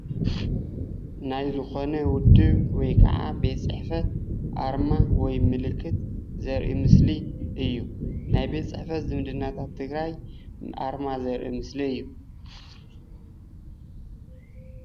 ናይ ዝኾነ ውድብ ወይከዓ ቤት ፅሕፈት ኣርማ ወይ ምልኽት ዘርኢ ምስሊ እዩ። ናይ ቤት ፅሕፈት ዝምድናታት ትግራይ ኣርማ ዘርኢ ምስሊ እዩ።